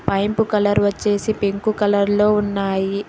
Pipe colour వచ్చేసి pink colour లో ఉన్నాయి.